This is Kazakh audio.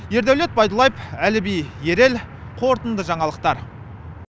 ердәулет байдуллаев әліби ерел қорытынды жаңалықтар